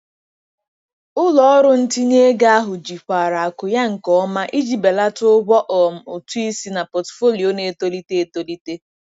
Ụlọ ọrụ ntinye ego ahụ jikwara akụ ya nke ọma iji belata ụgwọ um ụtụ isi na pọtụfoliyo na-etolite etolite.